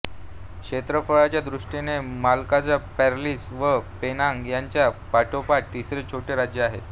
क्षेत्रफळाच्या दृष्टीने Malacca Perlis व पेनांग यांच्या पाठोपाठ तिसरे छोटे राज्य आहे